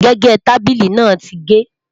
gégé tábìlì nà tí ge